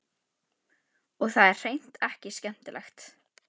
Og það er hreint ekki skemmtilegt.